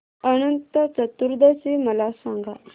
अनंत चतुर्दशी मला सांगा